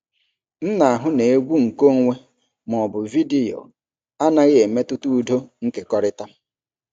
M na-ahụ na egwu nkeonwe ma ọ bụ vidiyo anaghị emetụta udo nkekọrịta.